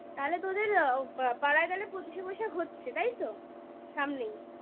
তাহলে তোদের পাড়ায় গেলে পঁচিশে বৈশাখ হচ্ছে তাই তো সামনেই?